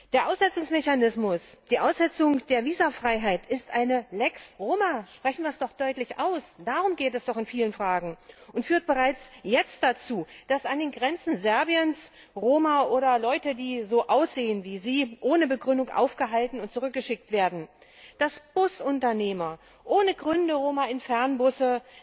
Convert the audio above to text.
Der Aussetzungsmechanismus, die Aussetzung der Visumfreiheit, ist eine Lex Roma, sprechen wir es doch deutlich aus. Darum geht es doch in vielen Fragen und führt bereits jetzt dazu, dass an den Grenzen Serbiens Roma, oder Menschen, die so aussehen wie sie, ohne Begründung aufgehalten und zurückgeschickt werden, dass Busunternehmer ohne Gründe Roma nicht in Fernbusse